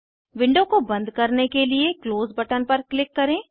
window को बंद करने के लिए क्लोज़ बटन पर क्लिक करें